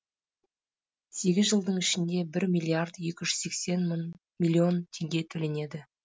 сегіз жылдың ішінде бір миллиард екі жүз сексен миллион теңге төленеді